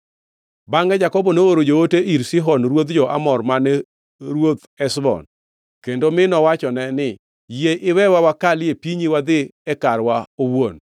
“Bangʼe Jakobo nooro joote ir Sihon ruodh jo-Amor mane ruoth Heshbon, kendo mi nowachone ni, ‘Yie iwewa wakalie pinyu wadhi e karwa owuon.’